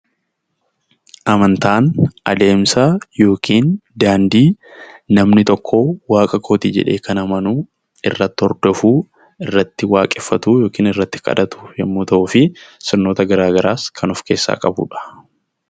Amantaan adeemsa yookiin daandii namni tokko waaqa kooti jedhee kan amanuu irratti hordofuu, irratti waaqeffatuu yookin irratti kadhatu yemmuu ta'uu fi sirnoota garaa garaas kan of keessaa qabudha.